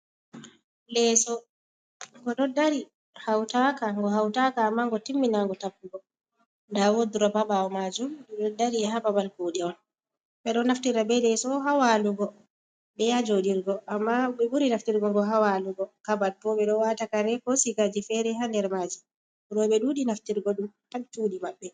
Leeso go doddari hautaka go hautaka amango timminango tappugo dawodroba bawo majum di doddari ha babal kude on bedo naftira be leso hawalugo be yajodirgo amma be buri naftirgo go hawalugo kabad bobe do watakare ko sigaji fere ha nder maji rowbe dudi naftirgo dum ha chuɗi mabbe.